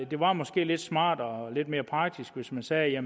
det var måske lidt smartere og lidt mere praktisk hvis man sagde at